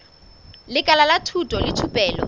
lekala la thuto le thupelo